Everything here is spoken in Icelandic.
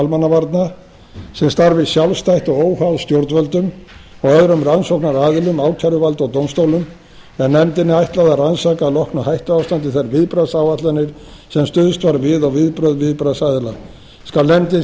almannavarna sem starfi sjálfstætt og óháð stjórnvöldum og öðrum rannsóknaraðilum ákæruvaldi og dómstólum en nefndinni er ætlað að rannsaka að loknu hættuástandi þær viðbragðsáætlanir sem stuðst var við og viðbrögð viðbragðsaðila skal